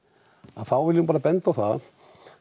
þá vil ég nú bara benda á það